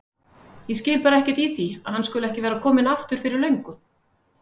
Ég skil bara ekkert í því að hann skuli ekki vera kominn aftur fyrir löngu.